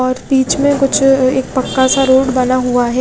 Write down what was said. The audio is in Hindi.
और पीछे में कुछ अ एक पक्का सा रोड बना हुआ है।